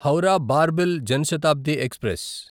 Howrah Barbil Jan Shatabdi express